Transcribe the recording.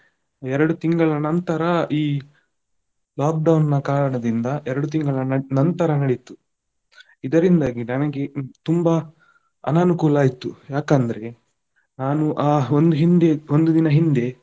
ಎರಡು ತಿಂಗಳ ನಂತರ ಈ lockdown ನ ಕಾರಣದಿಂದ ಎರಡು ತಿಂಗಳ ನ~ ನಂತರ ನಡೆಯಿತು. ಇದರಿಂದಾಗಿ ನನಗೆ ಈ ತುಂಬಾ ಅನನುಕೂಲ ಆಯ್ತು, ಯಾಕಂದ್ರೆ ನಾನು ಹಾ ಒಂದು ಹಿಂದೆ ಒಂದು ದಿನ ಹಿಂದೆ.